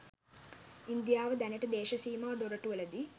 ඉන්දියාව දැනට දේශ සීමා දොරටුවලදී